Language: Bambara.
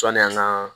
Sɔni an ka